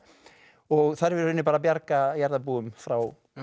og þarf í rauninni að bjarga jarðarbúum frá